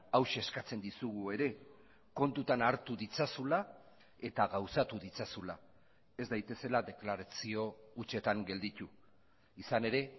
hauxe eskatzen dizugu ere kontutan hartu ditzazula eta gauzatu ditzazula ez daitezela deklarazio hutsetan gelditu izan ere